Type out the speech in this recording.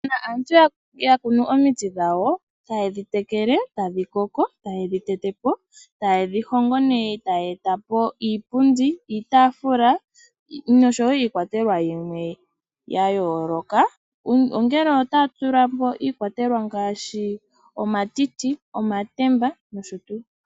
Uuna aantu ya kuno omiti dhawo, taye dhi teleke, tadhi koko, taye dhi tete po, taye dhi hongo ne taya eta po iipundi, iitaafula nosho wo iikwatelwa yimwe yayooloka, ongele otaya tulamo iikwatelwa yimwe ngaashi omatiti, omatemba nosho tu.